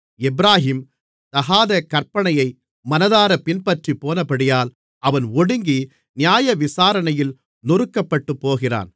எப்பிராயீம் தகாத கற்பனையை மனதாரப் பின்பற்றிப்போனபடியால் அவன் ஒடுங்கி நியாயவிசாரணையில் நொறுக்கப்பட்டுப்போகிறான்